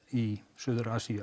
í suður Asíu